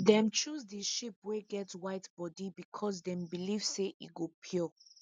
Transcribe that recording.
dem choose the sheep wey get white body because them believe say e go pure